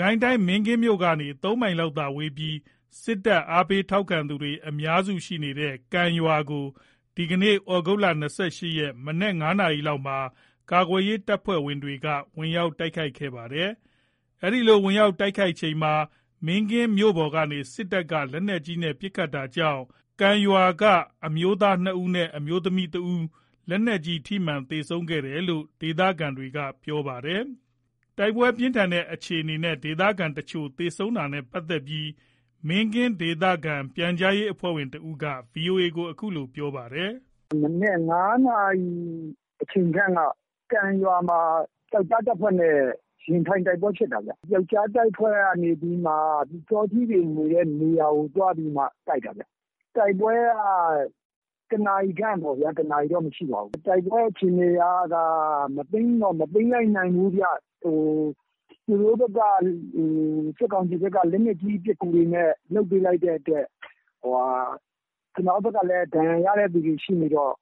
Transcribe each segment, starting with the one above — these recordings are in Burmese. ကိုင်းတိုင်း မင်းကင်းမြို့ကနေ ၃ မိုင်လောက်သာဝေးပြီး စစ်တပ် အားပေး ထောက်ခံသူတွေ အများစုရှိနေတဲ့ ကံ ရွာကို ဒီကနေ့ သြဂုတ် ၂၈ ရက် မနက် ၅ နာရီလောက်မှာ ကာကွယ်ရေး တပ်ဖွဲ့တွေက ဝင်ရောက် တိုက်ခိုက်ခဲ့တာပါ။ အဲ့ဒီလို ဝင်ရောက် တိုက်ခိုက်ချိန်မှာ မင်းကင်းမြို့ပေါ်ကနေ စစ်တပ်က လက်နက်ကြီးနဲ့ ပစ်ခတ်တာကြောင့် ကံကျေးရွာက အမျိုးသား ၂ ဦးနဲ့ အမျိုးသမီး ၁ ဦး လက်နက်ကြီးစမှန်ပြီး သေဆုံးခဲ့တယ်လို့ ဒေသခံတွေက ပြောပါတယ်။ တိုက်ပွဲပြင်းထန်ခဲ့တဲ့ အခြေအနေနဲ့ ဒေသခံတချို့ သေဆုံးခဲ့တာနဲ့ ပတ်သက်လို့ မင်းကင်း ဒေသခံ ပြန်ကြားရေးအဖွဲ့ဝင် ၁ ဦးက ဗွီအိုအေကို အခုလို ပြောပြပါတယ်။ “မနက် ၅ နာရီအချိန်ခန့်က ကံရွာမှာ ပြောက်ကျား တပ်ဖွဲ့နဲ့ ရင်ဆိုင်တိုက်ပွဲဖြစ်တာ။ ပြောက်ကျားတပ်ဖွဲ့ကနေပြီး ပျူစောထီးတွေနေတဲ့ နေရာကို သွားပြီးတိုက်တာ။ တိုက်ပွဲက ၁ နာရီခန့်ပေါ့ဗျာ။ ၁ နာရီတော့ မရှိပါဘူး။ တိုက်ပွဲအခြေအနေက မသိမ်းတော့ မသိမ်းလိုက်နိုင်ဘူး။ သူတို့ စစ်ကောင်စီဘက်က လက်နက်ကြီး ပစ်ကူတွေနဲ့ လုပ်ပေးလိုက်တဲ့အတွက် ကျနော်တို့ဘက်ကလည်း ဒဏ်ရာရတဲ့သူတွေ ရှိနေတော့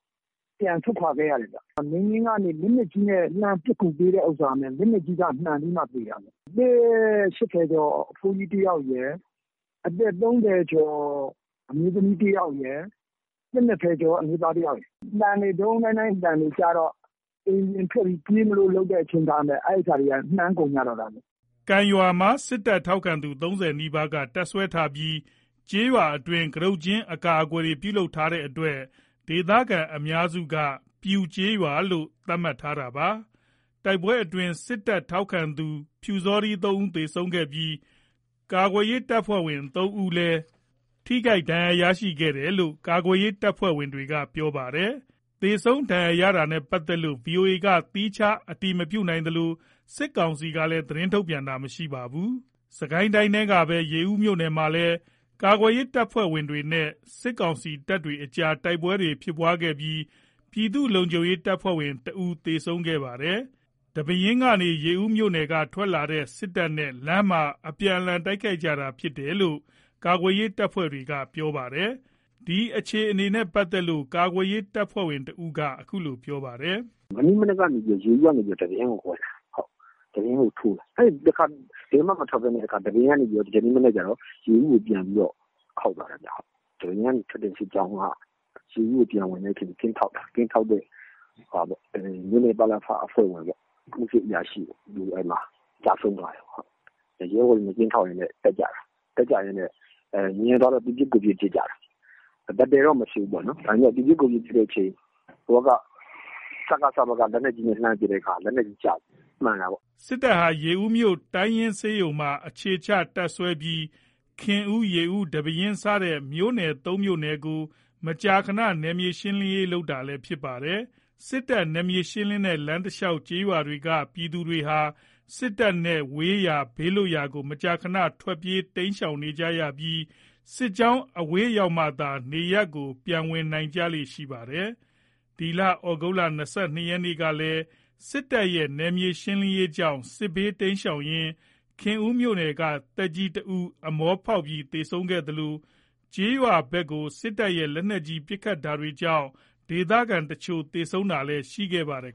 ပြန်ဆုတ်ခွာခဲ့ရတယ်။ မင်းကင်းကနေ လက်နက်ကြီးနဲ့ လှမ်းပစ်ကူပေးတဲ့ဟာ လက်နက်ကြီး အစမှန်ပြီးမှ သေတာ။ အသက် ၈၀ ကျော် အဖိုးကြီး ၁ ယောက်ရယ်။ အသက် ၃၀ ကျော် အမျိုးသမီး ၁ ယောက်ရယ်။ အသက် ၂၀ ကျော် အမျိုးသား ၁ ယောက်ရယ်။ ဒုန်းဒုန်းဒိုင်းဒိုင်း အသံတွေ ကြားတော့ အိမ်ပြင်ထွက်ပြီး ပြေးမလို့ လုပ်တဲ့အချိန်မှာ မှန်ကုန်ကြတာ။” ကံ ကျေးရွာမှာ စစ်တပ် ထောက်ခံသူ ၃၀ နီးပါးက တပ်စွဲထားပြီး ကျေးရွာအတွင်းမှာ ကတုတ်ကျင်း အကာအကွယ်တွေ ပြုလုပ်ထားတဲ့အတွက် ဒေသခံအများစုက ပျူကျေးရွာလို့ သတ်မှတ်ထားတာပါ။ တိုက်ပွဲအတွင်း စစ်တပ်ထောက်ခံသူ ပျူစောထီး ၃ ဦး သေဆုံးခဲ့ပြီး ကာကွယ်ရေး တပ်ဖွဲ့ဝင် ၃ ဦးလည်း ဒဏ်ရာရခဲ့တယ်လို့ ကာကွယ်ရေး တပ်ဖွဲ့တွေက ပြောပါတယ်။ သေဆုံးဒဏ်ရာရတာနဲ့ ပတ်သက်လို့ ဗွီအိုအေက သီးခြား အတည်မပြုနိုင်သလို စစ်ကောင်စီကလည်း သတင်းထုတ်ပြန်တာ မရှိသေးပါဘူး။ စစ်ကိုင်းတိုင်းထဲကပဲ ရေဦးမြို့နယ်ထဲမှာလည်း ကာကွယ်ရေး တပ်ဖွဲ့နဲ့ စစ်ကောင်စီ တပ်ဖွဲ့တွေကြား တိုက်ပွဲဖြစ်ခဲ့ပြီး ပြည်သူ့လုံခြုံရေး တပ်ဖွဲ့ဝင် ၁ ဦး သေဆုံးခဲ့ပါတယ်။ ဒီပဲယင်းကနေ ရေဦးမြို့နယ်ထဲ ထွက်လာတဲ့ စစ်တပ်နဲ့ လမ်းမှာ အပြန်အလှန် တိုက်ခိုက်ခဲ့ကြတာလို့ ကာကွယ်ရေး တပ်ဖွဲ့တွေက ပြောပါတယ်။ ဒီအခြေအနေနဲ့ ပတ်သက်လို့ ကာကွယ်ရေး တပ်ဖွဲ့ဝင်တဦးက ခုလိုပြောပါတယ်။ “မနေ့မနက်က ရေဦးကနေ ဒီပဲယင်းကို ဝင်တာ။ ဒီပဲယင်းကိုထိုးတာ အဲ့မှာ ဘယ်မှ မထွက်ဘဲနဲ့ ဒီပဲယင်းကနေ ဒီကနေ့ မနက်ကျတော့ ရေဦးကို ပြန်ခေါက်တာ။ ဒီပဲယင်းကထွက်တဲ့ စစ်ကြောင်းက ရေဦးကို ပြန်ဝင်တဲ့အချိန် ကင်းထောက်တဲ့ မြို့နယ် ပလဖ အဖွဲ့ဝင်ဗျ။ အမှုစစ်အရာရှိ။ အဲ့မှာ ကျဆုံးသွားတယ်။ ရဲဘော်တွေနဲ့ ကင်းထောက်ရင်းနဲ့ တက်ကြတာ။ တက်ကြရင်းနဲ့ မြင်သွားတော့ သူပစ်ကိုယ်ပစ် ပစ်ကြတာ။ တိုက်ပွဲတော့မဖြစ်ဘူး။ သူပစ်ကိုယ်ပစ် ပစ်ရင်းနဲ့ ဟိုဘက် စကစ ဘက်က လက်နက်ကြီးနဲ့ လှမ်းပစ်တဲ့အခါ လက်နက်ကြီးအစ မှန်တာပေါ့။” စစ်တပ်ဟာ ရေဦးမြို့ တိုင်းရင်းဆေးရုံမှာ အထိုင်ချ တပ်စွဲပြီး ခင်ဦး၊ ရေဦး၊ ဒီပဲယင်း စတဲ့ မြို့နယ် ၃ မြို့နယ်ကို မကြာခဏ နယ်မြေရှင်းလင်းရေး လုပ်နေတာလည်း ဖြစ်ပါတယ်။ စစ်တပ် နယ်မြေရှင်းလင်းတဲ့ လမ်းတလျှောက် ကျေးရွာတွေက ပြည်သူတွေဟာ စစ်တပ်နဲ့ဝေးရာ ဘေးလွတ်ရာကို မကြာခဏ ထွက်ပြေးတိမ်းရှောင်ကြရပြီး စစ်ကြောင်း အဝေးရောက်မှသာ နေရပ်တွေကို ပြန်ဝင်ကြလေ့ ရှိကြပါတယ်။ ဒီသြဂုတ်လ ၂၂ ရက်ကလည်း စစ်တပ်ရဲ့ နယ်မြေရှင်းလင်းရေးကြောင့် စစ်ဘေး တိမ်းရှောင်ရင်း ခင်ဦးမြို့နယ်က သက်ကြီး ၁ ဦး အမောဖောက်ပြီး သေဆုံးခဲ့သလို၊ ကျေးရွာတွေဘက်ကို စစ်တပ်ရဲ့ လက်နက်ကြီး ပစ်ခတ်တာတွေကြောင့် ဒေသခံတချို့ သေဆုံးတာတွေလည်း ရှိခဲ့ပါတယ်